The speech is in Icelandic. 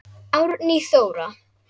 Árný Þóra.